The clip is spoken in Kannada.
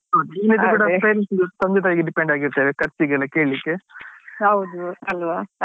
ಇಲ್ದಿದ್ರೆ friends ತಂದೆ ತಾಯಿಗೆ depend ಆಗಿ ಇರ್ತೇವೆ ಖರ್ಚಿಗೆಲ್ಲ ಕೇಳ್ಲಿಕ್ಕೆ.